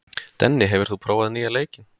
Denni, hefur þú prófað nýja leikinn?